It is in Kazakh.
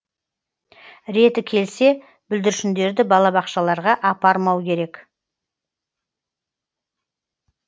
реті келсе бүлдіршіндерді балабақшаларға апармау керек